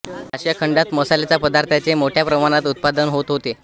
आशिया खंडात मसाल्याच्या पदार्थांचे मोठ्या प्रमाणात उत्पादन होत होते